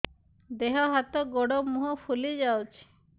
ଦେହ ହାତ ଗୋଡୋ ମୁହଁ ଫୁଲି ଯାଉଛି